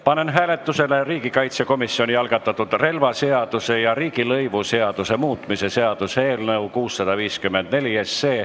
Panen hääletusele riigikaitsekomisjoni algatatud relvaseaduse ja riigilõivuseaduse muutmise seaduse eelnõu.